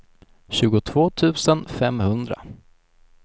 tjugotvå tusen femhundra